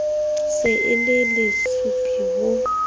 se e le lesupi ho